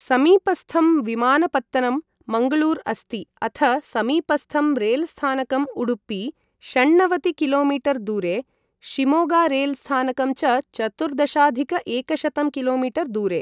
समीपस्थं विमानपत्तनं मङ्गळूर् अस्ति अथ समीपस्थं रेलस्थानकम् उडुपी, षण्णवति किलो मीटर् दूरे, शिमोगा रेलस्थानकं च चतुर्दशाधिक एकशतं किलो मीटर् दूरे।